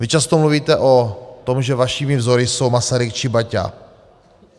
Vy často mluvíte o tom, že vašimi vzory jsou Masaryk či Baťa.